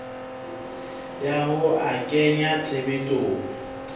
ya ho a kenya tshebetsong